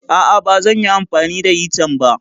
A'a, ba zan yi amfani da hitan ba.